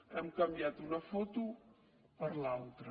hem canviat una foto per l’altra